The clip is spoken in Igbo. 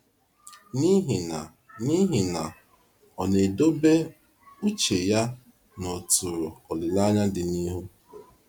N’ihi na N’ihi na ọ na-edobe uche ya n’ọ̀tụ̀rụ̀ olileanya dị n’ihu.